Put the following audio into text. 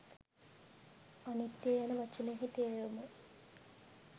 අනිත්‍ය යන වචනයෙහි තේරුම